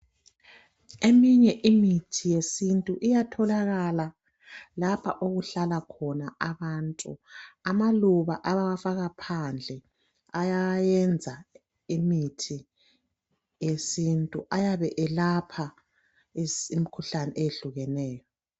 Eminye imithi yesintu iyatholakala lapha okuhlala khona abantu. Amaluba abawafaka phandle ayayenza imithi yesintu. Ayabe eyelapha imikhuhlane eyehlukeneyo.